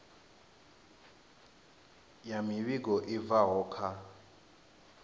ya muvhigo i bvaho kha